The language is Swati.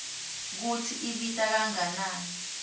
kutsi ibita kangakanani